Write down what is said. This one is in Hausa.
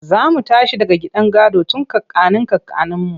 Za mu tashi daga gidan gado tun kakannin kakanninmu.